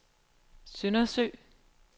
Søndersø